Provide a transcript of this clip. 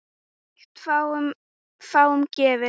Slíkt er fáum gefið.